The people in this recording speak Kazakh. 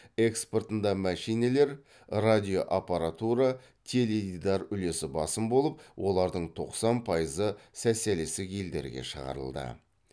экспортында мәшинелер радиоаппаратура теледидар үлесі басым болып олардың тоқсан пайызы социалисттік елдерге шығарылды